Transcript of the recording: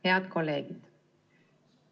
Head kolleegid!